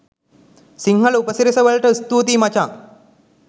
සිංහල උපසිරැසි වලට ස්තූතියි මචන්!